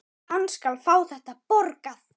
Hann skal fá þetta borgað!